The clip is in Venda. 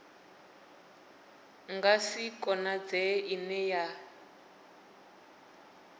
nga si konadzee ine ya